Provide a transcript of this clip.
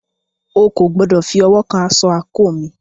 O kò gbọdọ̀ fi ọwọ́ kan asọ àńkò mi!